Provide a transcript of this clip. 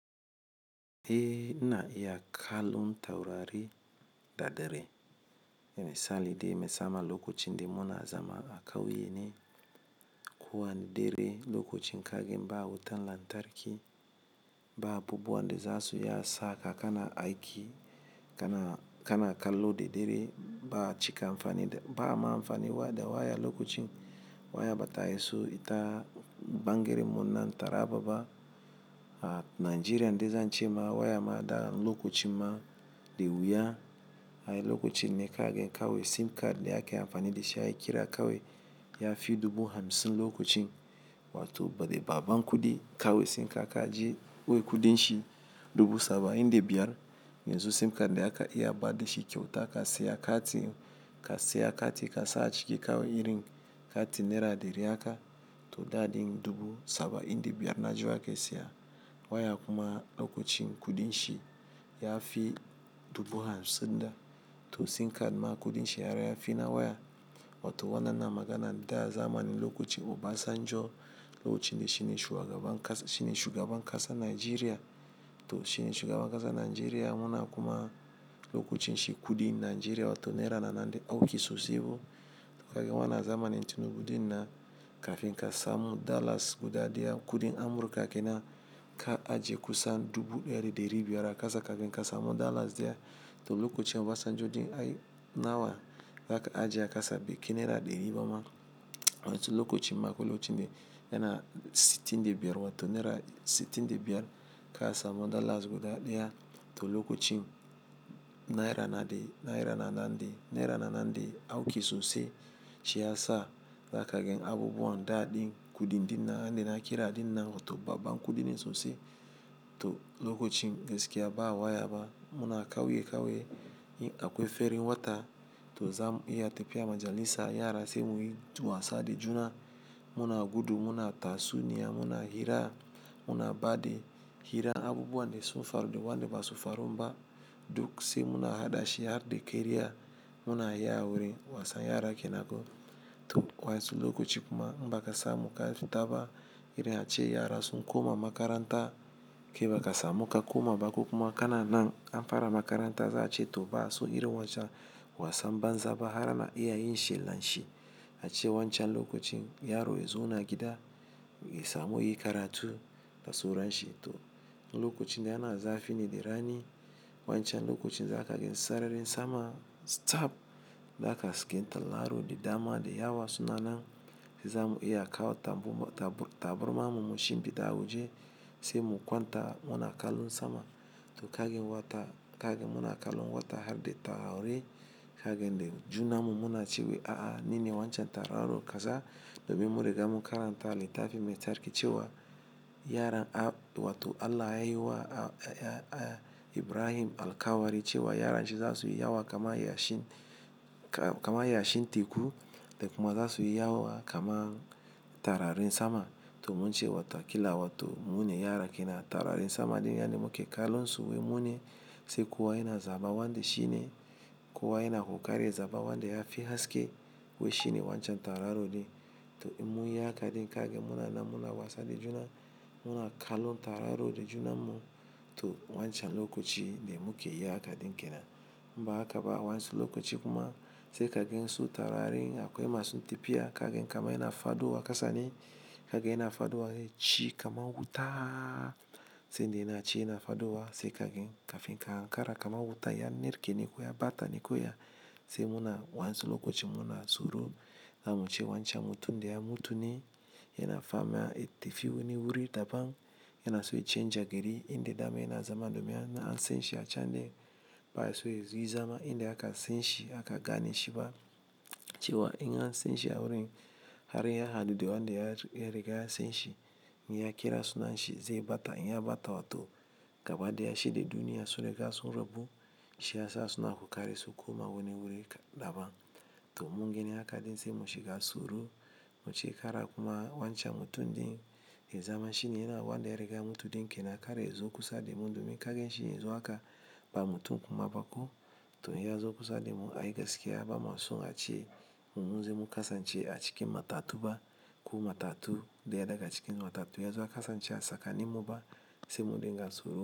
E na iya kallon taurari da dare. Misali dai, musamman lokacin da muna zama a kauye ne, kuwa ne dare lokacin kage ba wutan lantarki ba, abubuwan da za su iya saka kana aiki kana, kana kallo da dare ba cika amfani da, ba ma amfani da waya lokacin waya bata iso ita bangere muna taraba ba. A Najeriya dai zan ce ma waya ma da lokacin ma da wuya. Ai lokacin ne kage kawai sim card da aka yi amfani da shi ai kira kawai ya fi dubu hamsin lokacin. Wato bari baban kudi kawai sim card ka je, wai kudin shi dubu saba'in da biyar. Yanzu sim card da aka iya ba da shi kyauta ka siya kati, ka siya kati ka sa a ciki kawai irin kati naira dari haka, to da din dubu saba'in da biyar Najeriya ka siya. Waya kuma lokacin kudin shi ya fi dubu hamsin da. To sim card ma kudin shi har ya fi na waya. Wato wa dannan maganan tun azamani lokacin Obasanjo, lokacin da shine shugaban kasa, shine shugaban kasa Najeriya. To shine shugaban kasa Najeriya muna kuma lokacin shi kudin Najeriya wato naira na nan dai auki sosai ba. To kagen wana zamanin tun buɗin na kafin kasa mu Dallas guda daya kudin Amurka kenan ka ajiye kusan dubu dari dari biyar a kasa kafin kasa mu Dallas daya. To lokacin Obasanjo dai ai nawa za ka ajiye a kasa bai kai naira dari ba ma. Wancan lokacin ma ko lokacin dai yana sittin da biyar wato naira sittin da biyar kasa mu Dallas guda daya. To lokacin naira na nan dai, naira na nan dai, naira na nan dai auki sosai. Shi ya sa za kagen abubuwan da din kudin din nan dai na kira din nan wato babba kudin din sosai. To lokacin gaskiya ba waya ba muna kauye kauye ferin wata. To zamu iya tafiya majalisa, yara sai muyi wasa da juna. Muna gudu, muna tatsu niya, muna hira, muna ba da hira abubuwan da sun faru da wanda ba su faru ba. Duk sai muna hadashi har da keriya muna yi aure wasan yara kenan ko. To wancan lokacin kuma ba ka samu kafi taba irin ace yara sun koma makaranta. Kai ba ka samu ka koma ba ko kuma kana nan. Amfara makaranta za a ce to ba su irin wancan wasan banza ba har ana iya yin shi lan shi. A ce wancan lokacin yaro ya zo na gida, sai mu yi karatu da suran shi. To lokacin dai ana zafi ne da rani. Wancan lokacin za kagen sararin sama tsab. Za kaga hasken tauraro da dama da yawa suna nan. Zamu iya kawo ta taburma mu mashinfi da awaje. Sai mu kwanta muna kallon sama. To kagen wata, kagen muna kallon wata har da taurari. Kagen dai juna mu muna cewa a'a nine wancan tauraron kasa. Domin mu riga mu karanta littafin mai tsarki cewa yaran abu wato Allah ya yi wa Ibrahim alkawari cewa yaran shi za su yi yawa kamar yashin, kamar yashin teku da kuma za su yi yawa kamar taurarin sama. To mun ce wato akila wato mu ne yara kenan taurarin sama dai. Yani muke kallon su wai mu ne. Sai kowa yana zaba wanda shine. Kowa yana kokari zaba wanda ya fi haske wai shine wancan tauraro dai. To in mun yi haka dai kagen muna nan muna wasa da juna. Muna kallon tauraro da juna mu. To wancan lokacin dai mu ke yi haka dai kenan. Ba haka ba wancan lokacin kuma sai kagen so taurarin akwai masu tafiya kagen kama yana fado a kasa ne. Kaga yana fado a ciki kamar wuta sai dai yana ci yana fado a sai kagen kafin ka hankara kamar wuta ya narke ni kuwa ya bata ni kuwa. Sai muna wancan lokacin muna tsoro. Zamu ce wancan mutum dai ya mutu ne. Yana fama, ya tafi wani wuri daban. Yana so ya canja gari inda dama yana zama domin yana alsen shi a can dai. Ba ya so ya zuwa zama inda aka sen shi aka gane shi ba. Cewa in ya sen shi a wurin har ya hadu da wanda ya riga ya sen shi, in ya kira sunan shi zai bata. In ya bata wato gaba dai ya shaɗi duniya. So rigar su rabu. Shi ya sa suna kokari su koma wani wuri daban. To mun gani haka dai sai mu shiga tsoro. Mu ce kara kuma wancan mutum dai ya zama shine yana wanda ya riga mutu dai kenan. Kare ya zo kusa da mu domin kagen shi ya zo haka ba mutu kuma ba ko. To ya zo kusa da mu ai gaskiya ba masu a ce mun ji mun kasa ce a cikin matatu ba. Ku matatu daya daga cikin matatu ya zo ya kasa ce a saka ni mu ba sai mun riga tsoro.